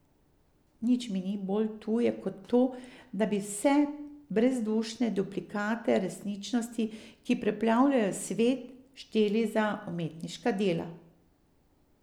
Nič mi ni bolj tuje kot to, da bi vse te brezdušne duplikate resničnosti, ki preplavljajo svet, šteli za umetniška dela.